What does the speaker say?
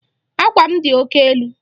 Àkwà m dị oke elu.